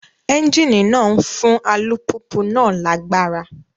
Ẹ́ńjíìnì náà ń fún alùpùpù náà lágbára